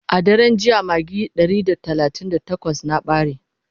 a daran jiya magi Ɗari da talatin da takwas na ɓare